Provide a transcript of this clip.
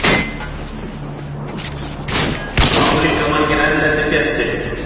Álíka margir erlendir gestir